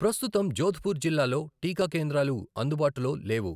ప్రస్తుతం జోధ్పూర్ జిల్లాలో టీకా కేంద్రాలు అందుబాటులో లేవు.